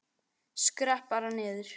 Skrepp bara niður.